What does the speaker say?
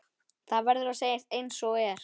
Það verður að segjast einsog er.